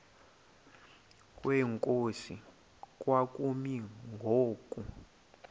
kwenkosi kwakumi ngoku